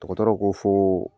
Dɔgɔtɔrɔw ko fo